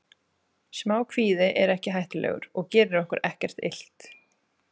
Smá kvíði er ekki hættulegur og gerir okkur ekkert illt.